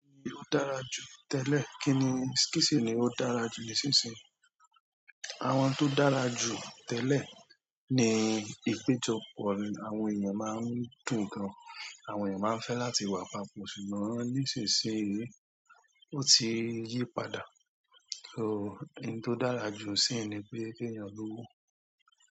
Kí ni ó dára jù tẹ́lẹ̀, kí ni, kí si ni ó dára jù nísinsìnyí? Àwọn tó dára jù tẹ́lẹ̀ ni ìpéjọpọ̀ àwọn èèyàn máa ń dùn gan. Àwọn èèyàn máa ń fẹ́ láti wà papọ̀ ṣùgbọ́n nísinsìnyí, ó ti yí padà. So, ohun tó dára jù ṣíìn ni pé kí èèyàn lọ́wọ́.